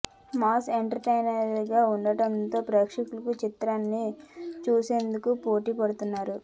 mass entertainer గా ఉండడం తో ప్రేక్షకులు చిత్రాన్ని చూసేందుకు పోటీ పడుతున్నారు